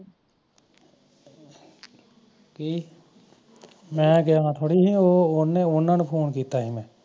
ਕੀ ਮੈਂ ਗਿਆ ਵਾ ਥੋੜੀ ਸਾ ਉਹਨਾਂ ਨੂੰ ਫੋਨ ਕੀਤਾ ਸੀ